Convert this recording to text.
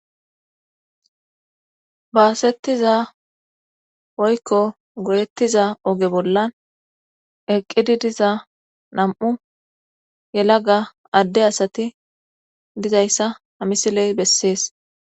Baasettiza oykko gorettiza oge bollan eqqidi diza nam'u yelaga adde asati dizayssa hamisiley bessees.